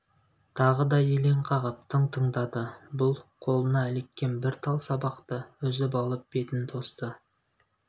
тағы да елең қағып тың тыңдады бұл қолына іліккен бір тал сабақты үзіп алып бетін тосты